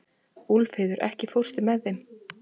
Úlfheiður, ekki fórstu með þeim?